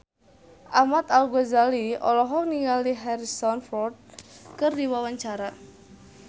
Ahmad Al-Ghazali olohok ningali Harrison Ford keur diwawancara